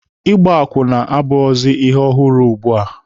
Ịgba akwụna abụghịzi ihe ọhụrụ ugbua.